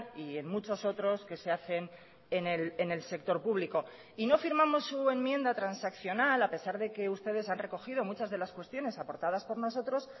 y en muchos otros que se hacen en el sector público y no firmamos su enmienda transaccional a pesar de que ustedes han recogido muchas de las cuestiones aportadas por nosotros